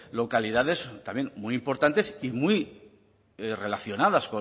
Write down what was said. localidades también muy importantes y muy relacionadas